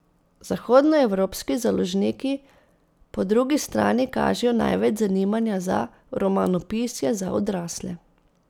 Zahodnoevropski založniki po drugi strani kažejo največ zanimanja za romanopisje za odrasle.